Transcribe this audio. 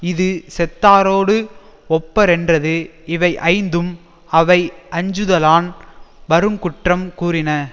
இது செத்தாரோடு ஒப்பரென்றது இவை ஐந்தும் அவையஞ்சுதலான் வருங்குற்றம் கூறின